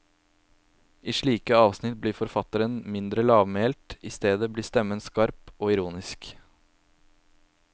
I slike avsnitt blir forfatteren mindre lavmælt, i stedet blir stemmen skarp og ironisk.